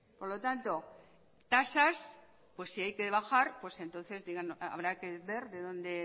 por lo tanto tasas si hay que bajar pues entonces habrá que ver de dónde